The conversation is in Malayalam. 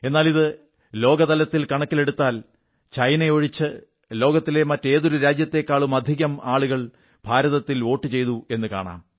എന്നാൽ ഇത് ലോകത്താകെയുള്ള ജനസംഖ്യ കണക്കിലെടുത്താൽ ചൈന ഒഴിച്ച് മറ്റേതൊരു രാജ്യത്തെക്കാളുമധികം ആളുകൾ ഭാരതത്തിൽ വോട്ടു ചെയ്തു എന്നു കാണാം